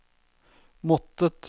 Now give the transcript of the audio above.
måttet